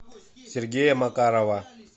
сергея макарова